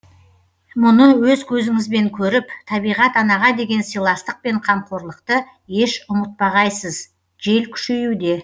мұны өз көзіңізбен көріп табиғат анаға деген сыйластық пен қамқорлықты еш ұмытпағайсыз жел күшеюде